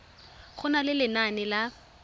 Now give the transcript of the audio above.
go na le lenane la